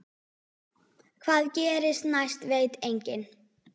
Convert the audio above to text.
Hvað gerist næst veit enginn.